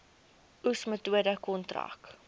oes metode kontrak